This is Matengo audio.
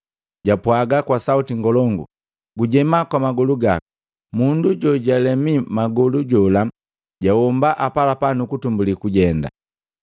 japwaga kwa sauti ngolongu, “Gujema kwa magolu gaku!” Mundu jojalemi magolu jola jahomba apalapala nukutumbuli kujenda.